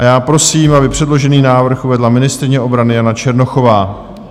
A já prosím, aby předložený návrh uvedla ministryně obrany Jana Černochová.